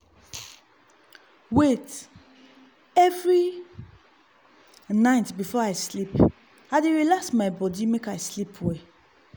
wait- every night before i sleep i dey relax body make i sleep well.